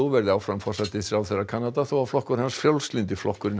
verður áfram forsætisráðherra Kanada þó að flokkur hans Frjálslyndi flokkurinn